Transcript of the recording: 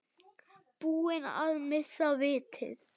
Búin að missa vitið?